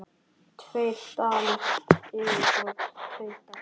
Tveir dalir yfirbót tveir dalir.